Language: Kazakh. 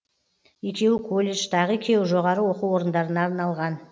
екеуі колледж тағы екеуі жоғары оқу орындарына арналған